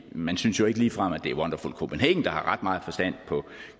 man synes jo ikke ligefrem at det er wonderful copenhagen der har meget forstand på